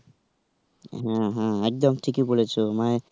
হ্যাঁ. হ্যাঁ. একদম ঠিকই বলেছো, মানে.